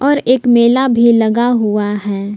ऊपर एक मेला भी लगा हुआ है।